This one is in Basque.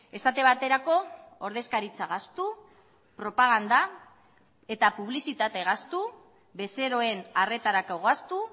esate baterako ordezkaritza gastu propaganda eta publizitate gastu bezeroen arretarako gastu